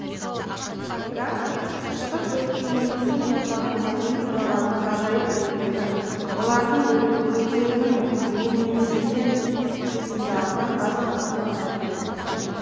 бірақ шығыс өркениетін жасаған мәдени мұралардың ғажайып үлгілері оларды өздерінің менменсіген қисындарынан бас тартуға мәжбүр етті